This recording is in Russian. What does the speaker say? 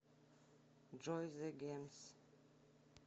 джой зе гермс